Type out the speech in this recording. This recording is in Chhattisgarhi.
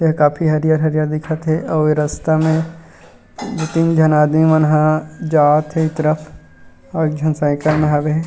यह काफी हरियर-हरियर दिखत हे अऊ रास्ता में दू तीन झन आदमी मन ह जात हे ऊई तरफ अऊ एक झन साइकल मे हवे हे।